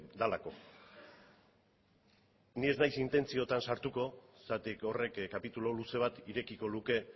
delako ni ez naiz intentzioetan sartuko zergatik horrek kapitulu luze bat irekiko luke